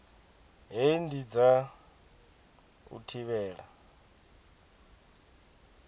hei ndi dza u thivhela